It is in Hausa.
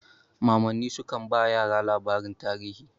Mamanni sukan ba yara labaran tarihi.